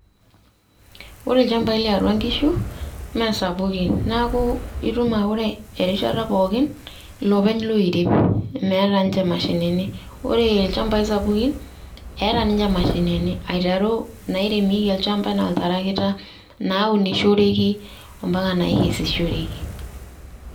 Ore ilnchampai liatua inkishu naa sapuki neaku etum ake aa ore erishata pooki, iloopeny loirem meeta inche imashinini, ore ilnchampai sapuki eata ninche imashinini aiteru inairemieki olnchampa enaa oltarakita, naunishoreki ompaka naakesishoreki.